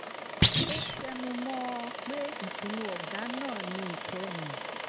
ó tẹnu mọ́ ọn pé ìpinnu ọ̀gá náà ni ìkẹyìn